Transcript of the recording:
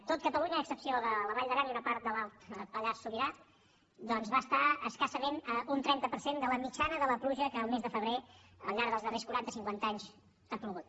tot cata lunya a excepció de la vall d’aran i una part de l’alt pallars sobirà doncs va estar escassament a un trenta per cent de la mitjana de la pluja que el mes de febrer al llarg dels darrers quaranta cinquanta anys ha plogut